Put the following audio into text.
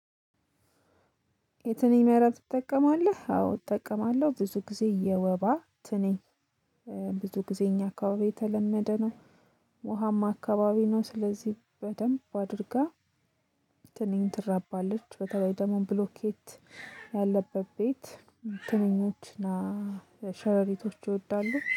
የትንኝ መረብ ትጠቀማለህ? አዎ እጠቀማለሁ ብዙ ጊዜ የወባ ትንኝ ብዙ ጊዜ እኛ አካባቢ የተለመደ ነው። ውሃማ አካባቢ ነው ስለዚህ በደንብ አድርጋ። ትንኝ ትራባለች በተለይ ደግሞ ብሎኬት ያለበት ቤት። ትንኞች እና ሸረሪቶች ይወዳሉ